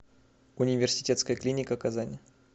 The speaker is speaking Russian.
университетская клиника казань